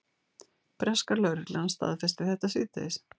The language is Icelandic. Breska lögreglan staðfesti þetta síðdegis